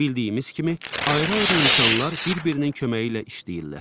Bildiyimiz kimi, ayrı-ayrı insanlar bir-birinin köməyi ilə işləyirlər.